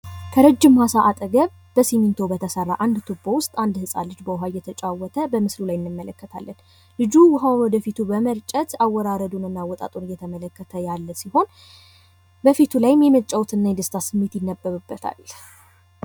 ከረጅም ማሳ አጠገብ በሲሚንቶ በተሰራ አንድ ትቦ ውስጥ አንድ ሕፃን ልጅ በውሃ እየተጫወተ በምስሉ ላይ እንመለከታለን። ልጁ ውሃውን ወደፊቱ በመርጨት አወራረዱ እና አወጥጡን እየተመለከተ ያለ ሲሆን፤ በፊቱ ላይ የመጫወት እና የደስታ ስሜት ይነበብበታል።